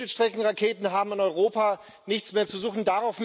Mittelstreckenraketen haben in Europa nichts mehr zu suchen.